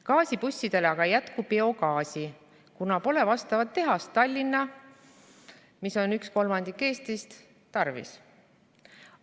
Gaasibussidele aga ei jätku biogaasi, kuna pole vastavat tehast Tallinna tarvis.